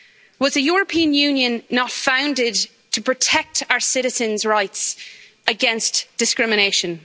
Was the European Union not founded to protect our citizens' rights against discrimination?